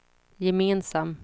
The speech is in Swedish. gemensam